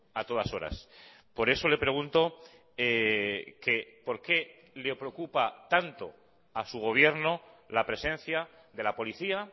a todas horas por eso le pregunto que por qué le preocupa tanto a su gobierno la presencia de la policía